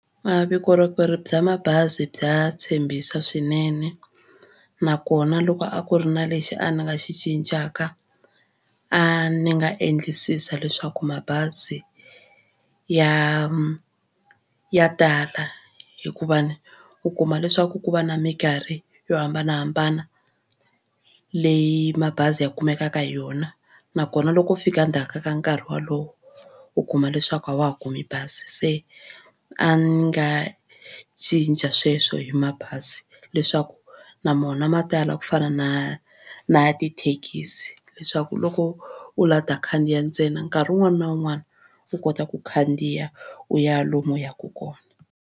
A vukorhokeri bya mabazi bya tshembisa swinene nakona loko a ku ri na lexi a ni nga xi cincaka a ni nga endlisisa leswaku mabazi ya ya tala hikuva ni u kuma leswaku ku va na mikarhi yo hambanahambana leyi mabazi ya kumekaka hi yona nakona loko u fika endzhaku ka nkarhi wolowo u kuma leswaku a wa ha kumi bazi se a ni nga cinca sweswo hi mabazi leswaku na mona ma tala ku fana na na tithekisi leswaku loko u lava ku ta khandziya ntsena nkarhi wun'wana na wun'wana u kota ku khandziya u ya lomu u yaka kona.